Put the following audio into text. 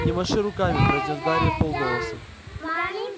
не маши руками произнёс гарри вполголоса